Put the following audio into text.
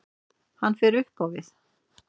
Hann fer upp á við.